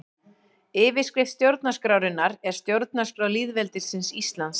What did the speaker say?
Yfirskrift stjórnarskrárinnar er Stjórnarskrá lýðveldisins Íslands.